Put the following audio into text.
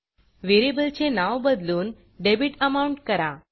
variable चे नाव बदलून डेबिट Amountडेबिट अमाउंट करा